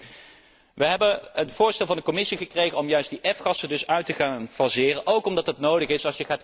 CO2. We hebben het voorstel van de Commissie gekregen om juist die F gassen te gaan uitfaseren, ook omdat dat nodig